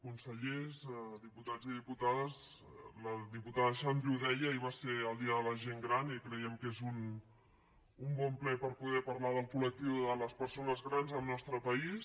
consellers diputats i diputades la diputada xandri ho deia ahir va ser el dia de la gent gran i creiem que és un bon ple per poder parlar del col·lectiu de les persones grans al nostre país